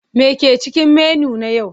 Me ke cikin menu na yau?